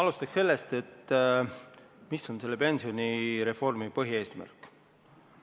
Alustan sellest, mis on selle pensionireformi põhieesmärk.